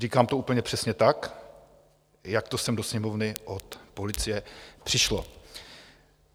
Říkám to úplně přesně tak, jak to sem do Sněmovny od policie přišlo.